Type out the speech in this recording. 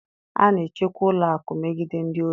A na-echekwa ụlọ akụ megide ndị ohi